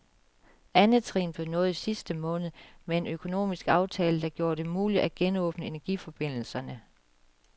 Andet trin blev nået i sidste måned med en økonomisk aftale, der gjorde det muligt at genåbne energiforbindelserne.